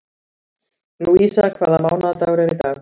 Lúísa, hvaða mánaðardagur er í dag?